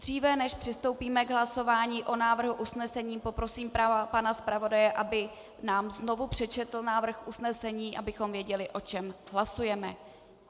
Dříve než přistoupíme k hlasování o návrhu usnesení, poprosím pana zpravodaje, aby nám znovu přečetl návrh usnesení, abychom věděli, o čem hlasujeme.